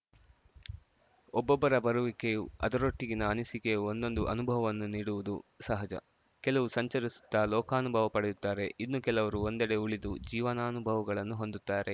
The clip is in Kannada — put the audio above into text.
ಒಬ್ಬೊಬ್ಬರ ಬರುವಿಕೆಯು ಅದರೊಟ್ಟಿಗಿನ ಅನಿಸಿಕೆಯು ಒಂದೊಂದು ಅನುಭವವನ್ನು ನೀಡುವುದು ಸಹಜ ಕೆಲವು ಸಂಚರಿಸುತ್ತ ಲೋಕಾನುಭವ ಪಡೆಯುತ್ತಾರೆ ಇನ್ನುಕೆಲವರು ಒಂದೆಡೆ ಉಳಿದು ಜೀವನಾನುಭವಗಳನ್ನು ಹೊಂದುತ್ತಾರೆ